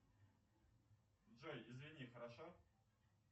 джой извини хорошо